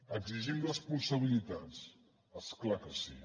exigim responsabilitats és clar que sí